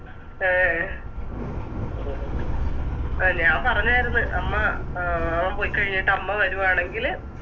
A അല ഞാ പറഞ്ഞാരുന്ന് അമ്മ അഹ് അവൻ പൊയിക്കഴിഞ്ഞിട്ട് അമ്മ വരുവാണെങ്കില്